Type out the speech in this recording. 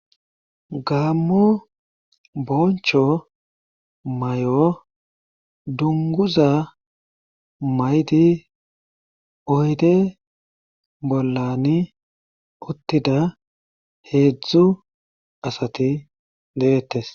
gamo boncho mayo dunguza mayidi oyde bollani uttida heedzdzu asati deettes.